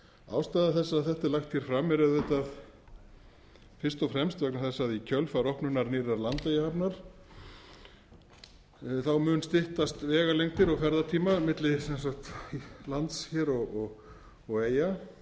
ástæða þess að þetta er lagt hér fram er auðvitað fyrst og fremst vegna þess að í kjölfar opnunar nýrrar landeyjahafnar mun styttast vegalengdir og ferðatímar milli lands hér og eyja